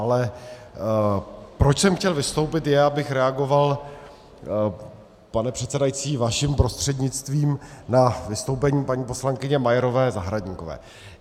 Ale proč jsem chtěl vystoupit, je, abych reagoval, pane předsedající, vaším prostřednictvím, na vystoupení paní poslankyně Majerové Zahradníkové.